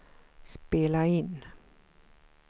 spela in